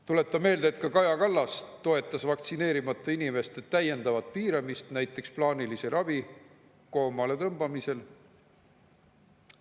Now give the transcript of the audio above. Tuletan meelde, et ka Kaja Kallas toetas vaktsineerimata inimeste täiendavat piiramist, näiteks plaanilise ravi koomale tõmbamisel.